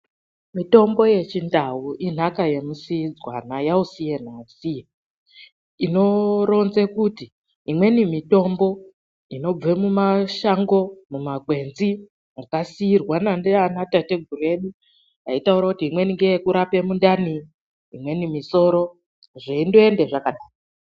Mitombo yechindau inhaka yemusiidzanwa, yausiye nausiye. Inoronze kuti imweni mitombo inobve mumashango, mumakwenzi makasiirwana ndianatateguru edu aitaura kuti imweni ngeyekurape mundani, imweni misoro zveindoende zvakadaro